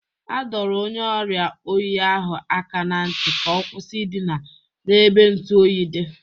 Adọrọ onye ọriịa oyi ahụ aka na ntị ka ọ kwụsị ịdịna n'ebe ntụ oyi dị.